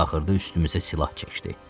Axırda üstümüzə silah çəkdi.